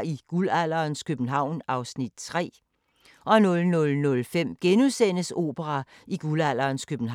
13:05: 24syv Dokumentar 14:05: Min Lille Hassan (G)